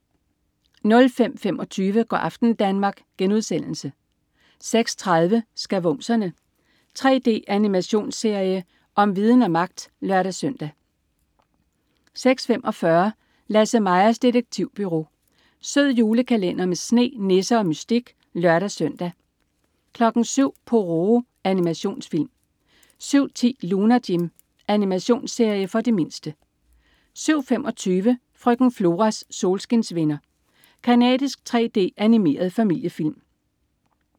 05.25 Go' aften Danmark* 06.30 Skavumserne. 3D-animationsserie om viden og magt (lør-søn) 06.45 Lasse-Majas detektivbureau. Sød julekalender med sne, nisser og mystik (lør-søn) 07.00 Pororo. Animationsfilm 07.10 Lunar Jim. Animationsserie for de mindste 07.25 Frøken Floras solskinsvenner. Canadisk 3D-animeret familiefilm